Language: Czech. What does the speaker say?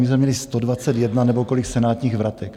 My jsme měli 121 nebo kolik senátních vratek.